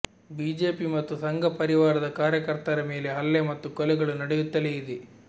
BJP ಮತ್ತು ಸಂಘಪರಿವಾರದ ಕಾರ್ಯಕರ್ತರ ಮೇಲೆ ಹಲ್ಲೆ ಮತ್ತು ಕೊಲೆಗಳು ನಡೆಯುತ್ತಲೇ ಇದೆ